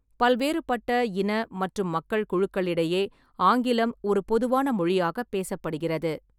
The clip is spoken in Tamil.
பல்வேறுபட்ட இன மற்றும் மக்கள் குழுக்களிடையே ஆங்கிலம் ஒரு பொதுவான மொழியாகப் பேசப்படுகிறது.